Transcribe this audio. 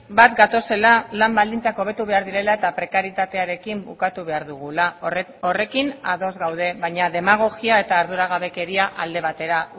bat gatozela lan baldintzak hobetu behar direla eta prekarietatearekin bukatu behar dugula horrekin ados gaude baina demagogia eta arduragabekeria alde batera